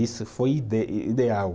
Isso foi ide, ideal.